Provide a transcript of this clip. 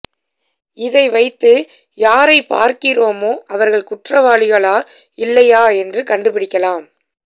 இதை வைத்து யாரைப் பார்க்கிறோமோ அவர்கள் குற்றவாளிகளா இல்லையா என்று கண்டுபிடிக்கலாம்